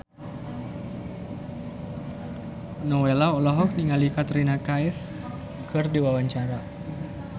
Nowela olohok ningali Katrina Kaif keur diwawancara